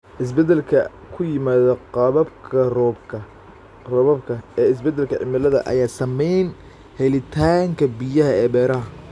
Isbeddellada ku yimaadda qaababka roobabka ee isbeddelka cimilada ayaa saameeya helitaanka biyaha ee beeraha.